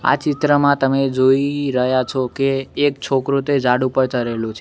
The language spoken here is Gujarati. આ ચિત્રમાં તમે જોય રહ્યા છો કે એક છોકરો તે જાડ ઉપર ચરેલો છે.